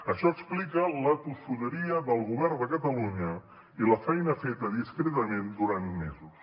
això explica la tossuderia del govern de catalunya i la feina feta discretament durant mesos